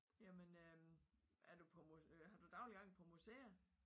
Jamen øh er du på har du daglig gang på museer?